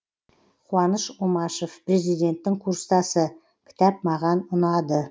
қуаныш омашев президенттің курстасы кітап маған ұнады